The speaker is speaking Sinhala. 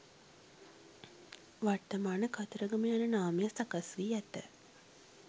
වර්තමාන කතරගම යන නාමය සකස් වී ඇත.